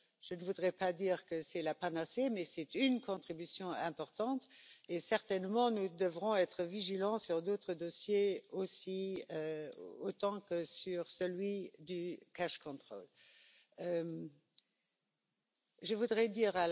Je ne voudrais pas dire que c'est la panacée, mais c'est une contribution importante, et nous devrons être tout aussi vigilants sur d'autres dossiers que celui des contrôles d'argent liquide.